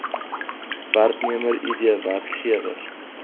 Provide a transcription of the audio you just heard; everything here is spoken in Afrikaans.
werknemer id werkgewer